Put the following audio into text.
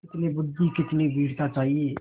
कितनी बुद्वि कितनी वीरता चाहिए